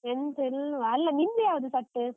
ಎಂತ ಇಲ್ವಾ. ಅಲ್ಲ, ನಿಮ್ದ್ ಯಾವ್ದು set ?